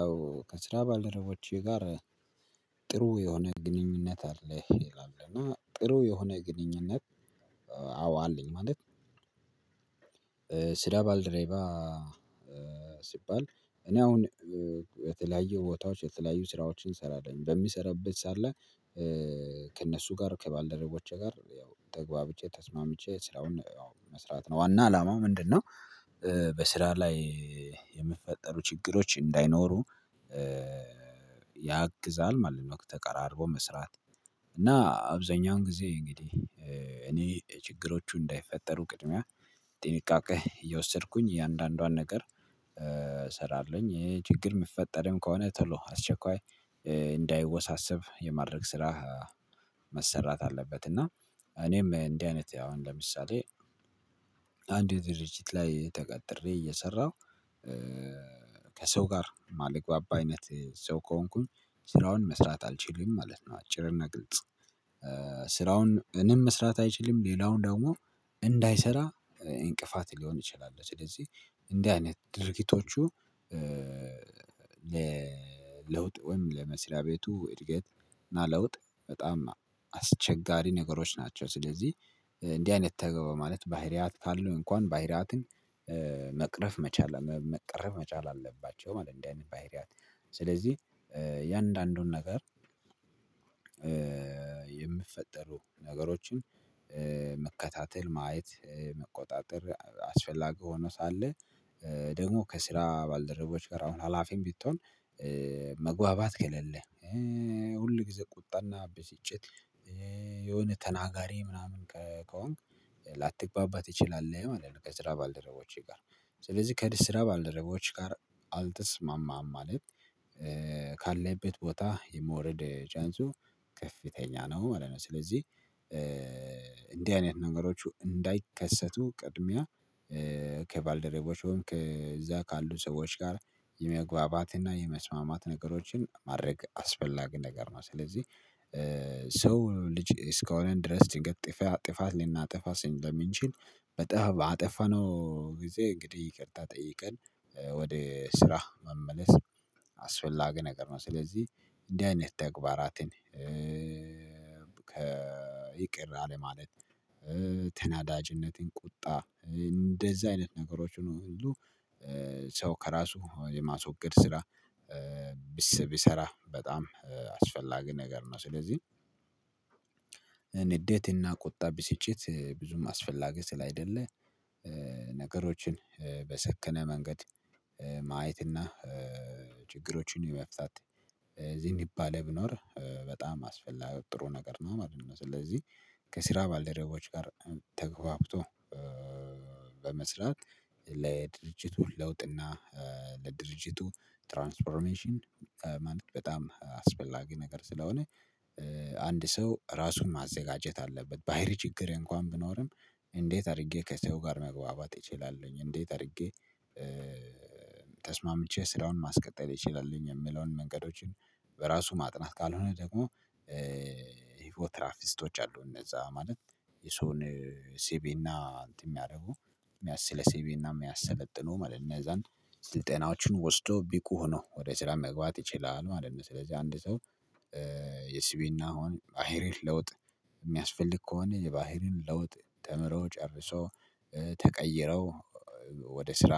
አዎ። ከስራ ባልደረቦቼ ጋር ጥሩ የሆነ ግንኙነት አለህ ይላል እና ጥሩ የሆነ ግንኙነት አዎ አለኝ። ማለት ኧ ስራ ባልደረባ ሲባል እኔ አውን የተለያየ ቦታዎች የተለያዩ ስራዎችን እሰራለን። በሚሰራበት ሳ ላይ እ ከእነሱ ጋር። ከባልደረቦቼ ጋር ያው ተግባብቼ ተስማምቼ ስራውን ያው መስራት ነው። ዋና አላማው ምንድነው እ በስራ ላይ የምፈጠሩ ችግሮች እንዳይኖሩ እ ያግዛል ማለት ነው፤ ተቀራርቦ መስራት። እና አብዛኛውን ጊዜ እንግዲ እ እኔ ችግሮቹ እንዳይፈጠሩ ቅድሚያ ጢንቃቄ እየወሰድኩኝ እያንዳንዷን ነገር ኧ ሰራለውኝ። እ ችግር ምፈጠርም ከሆነ ቶሎ አስቸኳይ እ እንዳይወሳሰብ የማድረግ ስራ መሰራት አለበት። እና እኔም እንዲህ አይነት አሁን ለምሳሌ አንድ ድርጅት ላይ ተቀጥሬ እየሰራው እ ከሰው ጋር ማልግባባ አይነት ሰው ከሆንኩኝ ስራውን መስራት አልችልም ማለት ነው። አጭርና ግልጽ። ስራውን እኔም መስራት አይችልም፣ ሌላው ደግሞ እንዳይሰራ ኢንቅፋት ሊሆን እችላልው። ስለዚህ እንዲህ አይነት ድርጊቶቹ ለ ለውጥ ወይም ለመስሪያ ቤቱ እድገት እና ለውጥ በጣም አስቸጋሪ ነገሮች ናቸው። ስለዚህ እንዲህ አይነት ተገበ ማለት ባህሪያት ካለው እንኳን ባህሪያትን ኧ መቅረፍ መቻል፣ መ መቀረፍ መቻል አለባቸው ማለት እንዲ አይነት ባህሪያት። ስለዚህ ኧ እያንዳንዱን ነገር ኧ የምትፈጠሩ ነገሮችን ኧ መከታተል፣ ማየት፣ እ መቆጣጠር አስፈላጊ ሆኖ ሳለ ኧ ደግሞ ከስራ ባልደረቦች ጋር አሁን ሀላፊም ቢቶን እ መግባባት ኬሌለ እ ሁል ጊዜ ቁጣና ቢሲጭት፣ እ የሆነ ተናጋሪ ምናምን ከ ከሆንክ ላትግባባ ትችላለ ማለት ነው ከስራ ባልደረቦች ጋር። ስለዚ ከድስስራ ባልደረቦች ጋር አልተስማማም ማለት። ካለህበት ቦታ የመወረድ ቻንሱ ከፍተኛ ነው ማለት ነው። ስለዚ እ እንዲ አይነት ነገሮቹ እንዳይከሰቱ ቅድሚያ እ ከባልረቦች ወይም ከዛ ካሉ ሰዎች ጋር የመግባባትና የመስማማት ነገሮችን ማድረግ አስፈላጊ ነገር ነው። ስለዚህ ሰው ልጅ እስከሆነን ድረስ ድንገት ጥፋ ጥፋት ሊናጠፋ ሲለሚንችል በጣም ባጠፋነው ጊዜ እንግዲህ ይቅርታ ጠይቀን እ ወደ ስራ መመለስ አስፈላጊ ነገር ነው። ስለዚህ እንዲ አይነት ተግባራትን ኧ ይቅር አለማለት፣ እ ተናዳጅነትን፣ ቁጣ እ እንደዚ አይነት ነገሮችን ሁሉ ኧ ሰው ከራሱ የማስወገድ ስራ ኧ ቢሰ ቢሰራ በጣም አስፈላጊ ነገር ነው። ስለዚህ ንዴትና ቁጣ፣ ቢስጭት እ ብዙም አስፈላጊ ስለአይደለ ኧ ነገሮችን ኧ በሰከነ መንገድ ኧ ማየትና ኧ ችግሮቹን የመፍታት እ ዚንባሌ ብኖር በጣም አስፈላ ጥሩ ነገር ነው ማለት ነው። ስለዚ ከስራ ባልደረቦች ጋር ተገባብቶ እ በመስራት ለድርጅቱ ለውጥና፣ እ ለድርጅቱ ትራንስፎርሜሽን ኧ ማለት በጣም አስፈላጊ ነገር ስለሆነ እ አንድ ሰው ራሱን ማዘጋጀት አለበት። ባሂሪ ችግር እንኳን ብኖርም እንዴት አርጌ ከሰው ጋር መግባባት እችላለሁኝ፣ እንዴት አርጌ እ ተስማምቼ ስራውን ማስቀጠል እችላለሁኝ፤ የምለውን መንገዶቹን በራሱ ማጥናት። ካልሆነ ደግሞ ፎትራፊስቶች አሉ። እነዛ ማለት የሰውን ሴቢና እንትን ሚያረጉ። ስለ ሴቢና ሚያሰለጥኑ ማለት ነው። እነዛን ስልጠናዎችን ወስዶ ቢቁ ሆኖ ወደ ስራ መግባት ይችላል ማለት ነው። ስለዚ አንድ ሰው የሲቢናውን ባሂሪ ለውጥ ሚያስፈልግ ከሆነ የባሂሪን ለውጥ ተምሮ፣ ጨርሶ፣ እ ተቀይረው ወደ ስራ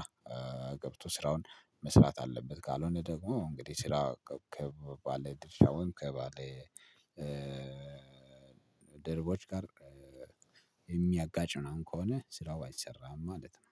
ገብቶ ስራውን መስራት አለበት። ካሎነ ደግሞ እንግዲህ ስራ ከ ከ ባለ ድርሻ ወይም ከባለ ኧ ድርቦች ጋር ኧ የሚያጋጭ ምናምን ከሆነ ስራው አይሰራም ማለት ነው።